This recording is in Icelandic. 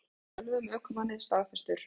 Dómur yfir ölvuðum ökumanni staðfestur